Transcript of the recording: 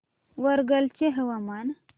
वरंगल चे हवामान